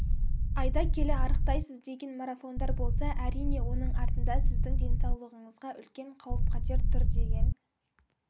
айда келі арықтайсыз деген марафондар болса әрине оның артында сіздің денсаулығыңызға үлкен қауіп-қатер тұр деген